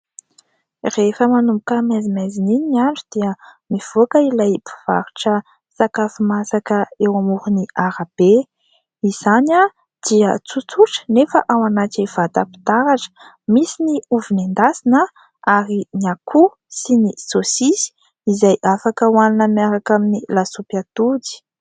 Rehefa manomboka maizimaizina iny andro dia mivoaka ilay mpivarotra sakafo masaka eo amoron'ny arabe. Izany dia tsotsotra nefa ao anaty vatam-pitaratra. Misy ny ovy nendasina, ary ny akoho sy ny saosisy izay afaka ohanina miaraka amin'ny lasopy atody.